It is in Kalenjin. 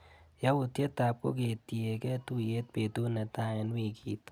Yautyetap koketyike tuiyet betut netai eng wikit.